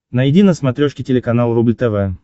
найди на смотрешке телеканал рубль тв